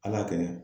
Ala kɛnɛ